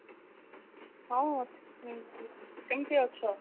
ହଁ କେମିତି ଅଛ